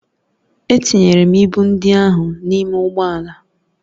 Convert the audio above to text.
Etinyere m ịbụ ndị ahụ n'ime ụgbọ ala